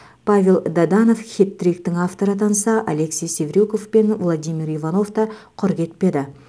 павел даданов хет триктің авторы атанса алексей севрюков пен владимир иванов та құр кетпеді